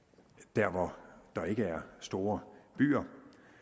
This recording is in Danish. der hvor der ikke er store byer